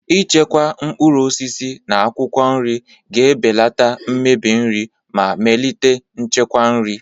Ichekwa mkpụrụ osisi na akwụkwọ nri ga-ebelata mmebi nri ma melite nchekwa nri.